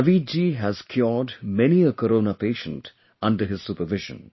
Naveed ji has cured many a Corona patient under his supervision